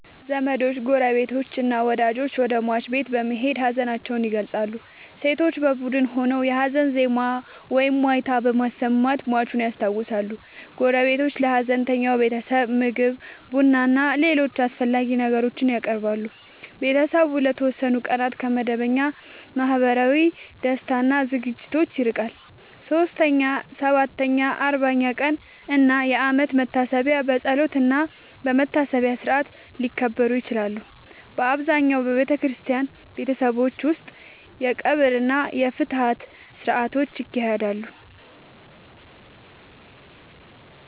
ዘመዶች፣ ጎረቤቶችና ወዳጆች ወደ ሟች ቤት በመሄድ ሀዘናቸውን ይገልጻሉ። ሴቶች በቡድን ሆነው የሀዘን ዜማ ወይም ዋይታ በማሰማት ሟቹን ያስታውሳሉ። ጎረቤቶች ለሀዘንተኛው ቤተሰብ ምግብ፣ ቡናና ሌሎች አስፈላጊ ነገሮችን ያቀርባሉ። ቤተሰቡ ለተወሰኑ ቀናት ከመደበኛ ማህበራዊ ደስታ እና ዝግጅቶች ይርቃል። 3ኛ፣ 7ኛ፣ 40ኛ ቀን እና የአመት መታሰቢያ በጸሎትና በመታሰቢያ ሥርዓት ሊከበሩ ይችላሉ። በአብዛኛው በክርስቲያን ቤተሰቦች ውስጥ የቀብር እና የፍትሐት ሥርዓቶች ይካሄዳሉ።